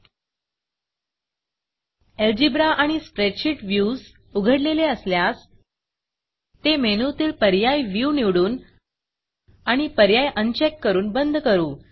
algebra आणि spreadsheet Viewsस्प्रेडशीट views उघडलेले असल्यास ते मेनूतील पर्याय Viewव्यू निवडून आणि पर्याय अनचेक करून बंद करू